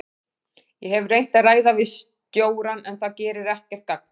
Ég hef reynt að ræða við stjórann en það gerir ekkert gagn.